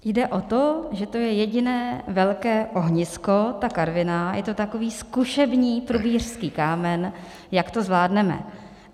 Jde o to, že to je jediné velké ohnisko, ta Karviná, je to takový zkušební prubířský kámen, jak to zvládneme.